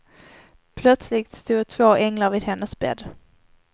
Plötsligt stod två änglar vid hennes bädd.